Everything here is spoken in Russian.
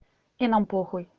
и нам похуй